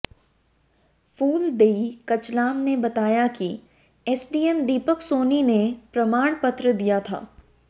फूलदेई कचलाम ने बताया कि एसडीएम दीपक सोनी ने प्रमाणपत्र दिया था